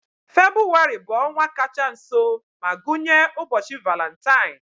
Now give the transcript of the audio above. Febụwarị bụ ọnwa kacha nso ma gụnye ụbọchị Valentine.